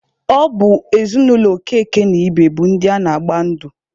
Ọ bụ ezinụlọ Okeke na Ibe bụ ndị na-agba ndụ.